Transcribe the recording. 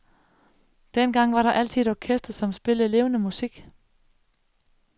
Dengang var der altid et orkester, som spillede levende musik.